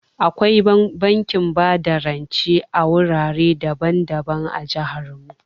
Akwai bankin bada rance a wurare daban-daban a jihar mu.